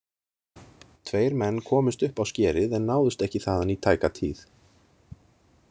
Tveir menn komust upp á skerið en náðust ekki þaðan í tæka tíð.